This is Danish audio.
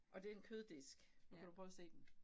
Og den køddisk nu kan du prøve at se den